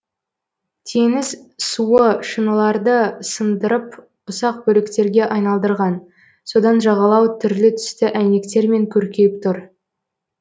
теңіз суы шыныларды сындырып ұсақ бөліктерге айналдырған содан жағалау түрлі түсті әйнектермен көркейіп тұр